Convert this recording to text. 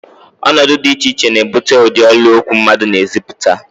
Ọnọdụ dị iche iche na-ebute ụdị olu okwu mmadụ na-ezipụta